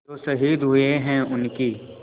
जो शहीद हुए हैं उनकी